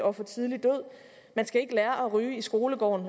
og tidlig død man skal ikke lære at ryge i skolegården